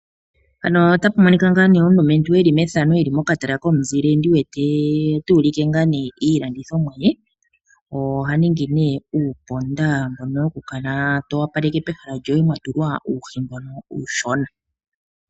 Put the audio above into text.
Omulumentu tuulike iilandithomwa ye. Oha ningi uuponda mbono to vulu okutula pehala lyoye tawu opaleke po.